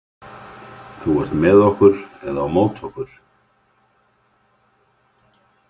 Þú ert með okkur eða á móti okkur.